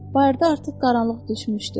Bayırda artıq qaranlıq düşmüşdü.